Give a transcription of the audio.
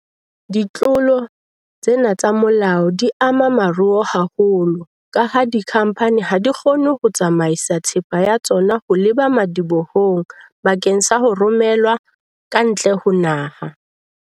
Ditlolo tsena tsa molao di ama moruo haholo kaha dikhamphani ha di kgone ho tsamaisa thepa ya tsona ho leba madibohong bakeng sa ho romelwa ka ntle ho naha.